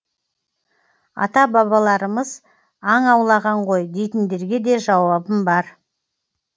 ата балаларымыз аң аулаған ғой дейтіндерге де жауабым бар